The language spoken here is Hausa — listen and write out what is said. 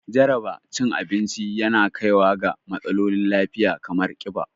Jaraba cin abinci yana kaiwa ga matsalolin lafiya kamar ƙiba